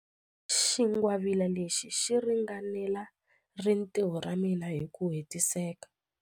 Xingwavila lexi xi ringanela rintiho ra mina hi ku hetiseka.